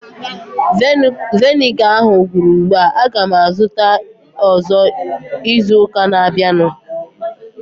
Viniga ahu gwụrụ ugbua. Aga m azụta ọzọ izu ụka na-abịanụ